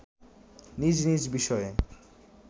নিজ নিজ বিষয়ে